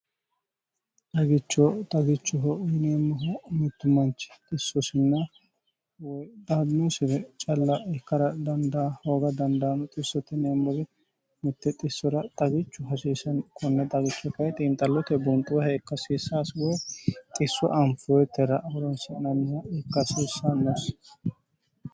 xagicho xagichuho yineemmoho mittu manchi xissosinna woy daadinosire calla ikkara dandaa hooga dandaano xissote yineemmore mitte xissora xagichu hasiiseno konne xagicho kayi xiinxallote bunxoha ikka hasiissano xisso anfoyittera horonsi'nannoha ikka hasiissannosi.